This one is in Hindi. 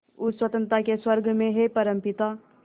उस स्वतंत्रता के स्वर्ग में हे परमपिता